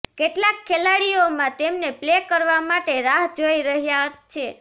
કેટલાક ખેલાડીઓમાં તેમને પ્લે કરવા માટે રાહ જોઈ રહ્યા છે